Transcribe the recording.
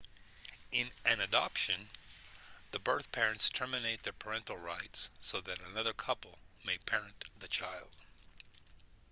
in an adoption the birth parents terminate their parental rights so that another couple may parent the child